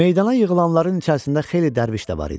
Meydana yığılanların içərisində xeyli dərviş də var idi.